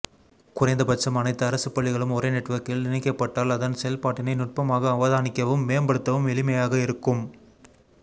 குறைந்த பட்சம் அனைத்து அரசுப்பள்ளிகளும் ஒரே நெட்வொர்கில் இணைக்கப்பட்டால் அதன் செயல்பாட்டினை நுட்பமாக அவதானிக்கவும் மேம்படுத்தவும் எளிமையாக இருக்கும்